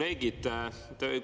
Head kolleegid!